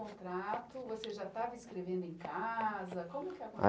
Contrato, você já estava escrevendo em casa?